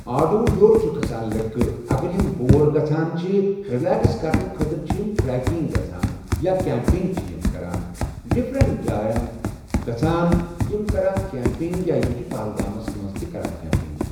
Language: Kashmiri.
آڑو ہیوٚر کھَسان لٔڑکہٕ اگر یِم بور گژھان رِلٮ۪کس کَرنہِ خٲطرٕ چھِ یِم ٹرٛیکِنٛگ گژھان یا کٮ۪مپِنٛگ چھِ یِم کَران ڈِفرنٛٹ جایَن گژھان یِم کَران کٮ۪مپِنٛگ یا یِم چھِ پہلگامَس منٛز تہِ کَران کٮ۪مپِنٛگ